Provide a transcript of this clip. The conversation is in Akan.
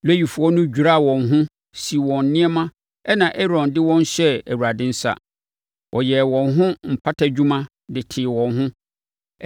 Lewifoɔ no dwiraa wɔn ho, sii wɔn nneɛma ɛnna Aaron de wɔn hyɛɛ Awurade nsa. Ɔyɛɛ wɔn ho mpatadwuma de tee wɔn ho.